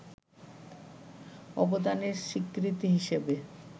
অবদানের স্বীকৃতি হিসেবে